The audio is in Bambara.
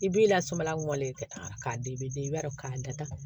I b'i lasumaya wale ka taa k'a den bɛ i b'a dɔn k'a datugu